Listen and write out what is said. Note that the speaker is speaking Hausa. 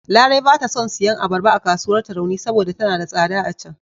Larai ba ta son siyan abarba a kasuwar Tarauni saboda tana da tsada a can..